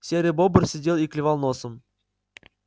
серый бобр сидел и клевал носом